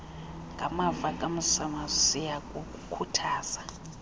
ngamava kamzimasi siyakukhuthaza